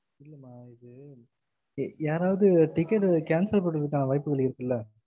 இல்லம்மா இது யாராது ticket cancel பண்ணுறதுக்கு ஆனா வாய்ப்புகள் இருக்குள